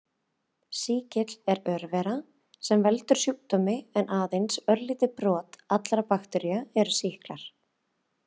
Sýkill er örvera sem veldur sjúkdómi en aðeins örlítið brot allra baktería eru sýklar.